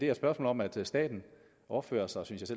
er et spørgsmål om at staten opfører sig synes